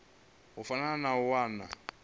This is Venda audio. fana na u nwa vha